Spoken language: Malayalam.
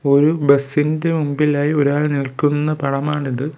ഒരു ബസിൻ്റെ മുമ്പിലായി ഒരാൾ നിൽക്കുന്ന പടമാണിത്.